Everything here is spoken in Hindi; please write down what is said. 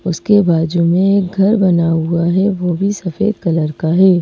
उसके बाजू में घर बना हुआ है। वह भी सफेद कलर का है।